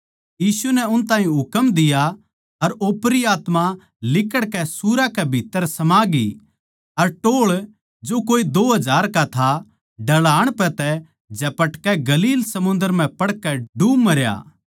आखर म्ह यीशु नै उन ताहीं हुकम दिया अर ओपरी आत्मा लिकड़कै सुअरां कै भीत्त्तर समा गई अर टोळ जो कोई दो हजार का था ढळान पै तै झपटकै गलील समुन्दर म्ह पड़कै डूब मरया